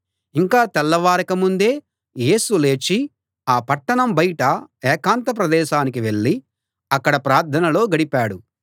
ఇంకా తెల్లవారక ముందే యేసు లేచి ఆ పట్టణం బయట ఏకాంత ప్రదేశానికి వెళ్ళి అక్కడ ప్రార్థనలో గడిపాడు